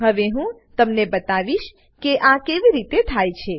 હવે હું તમને બતાવીશ કે આ કેવી રીતે થાય છે